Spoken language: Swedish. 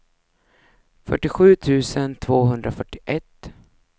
fyrtiosju tusen tvåhundrafyrtioett